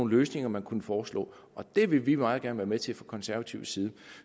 løsninger man kunne foreslå det vil vi meget gerne være med til fra konservativ side